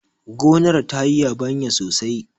gonar ta yi yabanya sosai!